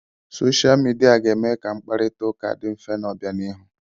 Soshia Midia ga-eme ka mkparita ụka dị mfe n'obianihu.